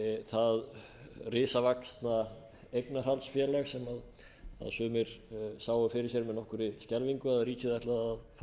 það risavaxna eignarhaldsfélag sem sumir sáu fyrir sér með nokkurri skelfingu að ríkið ætlaði að fara